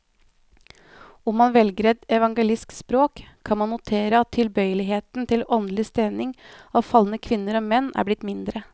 Om man velger et evangelisk språk, kan man notere at tilbøyeligheten til åndelig stening av falne kvinner og menn er blitt mindre.